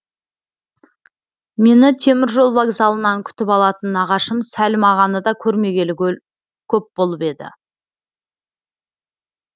мені теміржол вокзалынан күтіп алатын нағашым сәлім ағаны да көрмегелі көп болып еді